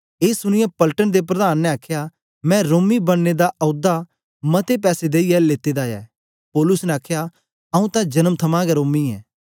ए सुनीयै पलटन दे प्रधान ने आखया मैं रोमी बनने दा औदा मते पैसे देईयै लेते दा ऐ पौलुस ने आखया आंऊँ तां जन्म थमां गै रोमी ऐ